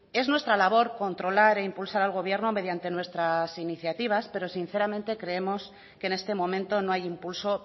es nuestra labor controlar e impulsar al gobierno mediante nuestras iniciativas pero sinceramente creemos que en este momento no hay impulso